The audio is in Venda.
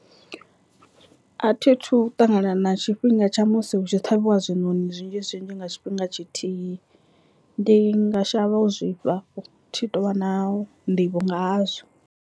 A thithu ṱangana na tshifhinga tsha musi hu tshi ṱhavhiwa zwinoni zwinzhi zwinzhi nga tshifhinga tshithihi ndi nga shavha u zwifha thi tu vha na nḓivho nga hazwo.